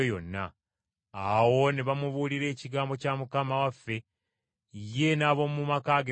Awo ne bamubuulira Ekigambo kya Mukama waffe, ye n’ab’omu maka ge bonna.